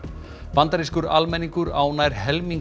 bandarískur almenningur á nær helming